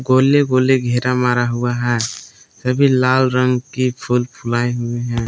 गोले गोले घेरा मारा हुआ है सभी लाल रंग की फुल फुलाई हुई हैं।